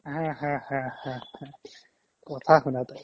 haa haa haa haa কথা শুনা তাইৰ